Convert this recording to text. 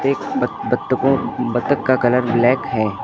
एक बत्तकों बत्तक का कलर ब्लैक है।